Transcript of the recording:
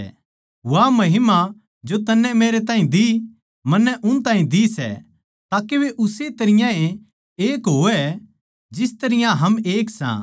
वा महिमा जो तन्नै मेरैताहीं दी मन्नै उन ताहीं दी सै के वे उस्से तरियां ए एक हों जिस तरियां हम एक सा